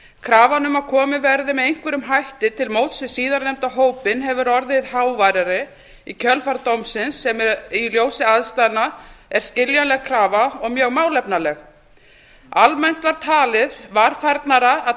krafan um að komið verði með einhverjum hætti til móts við síðarnefnda hópinn hefur orðið háværari í kjölfar dómsins sem í ljósi aðstæðna er skiljanleg krafa og mjög málefnaleg almennt var talið varfærnara að